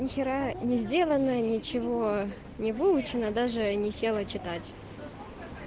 нехера не сделанное ничего не выучено даже не села читать